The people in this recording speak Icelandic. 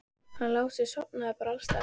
Hann Lási sofnar bara alls staðar.